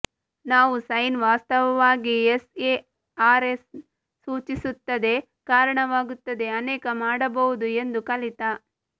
ನಾವು ಸೈನ್ ವಾಸ್ತವವಾಗಿ ಎಸ್ಎಆರ್ಎಸ್ ಸೂಚಿಸುತ್ತದೆ ಕಾರಣವಾಗುತ್ತದೆ ಅನೇಕ ಮಾಡಬಹುದು ಎಂದು ಕಲಿತ